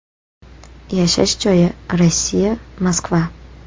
Yashash joyi: Rossiya, Moskva.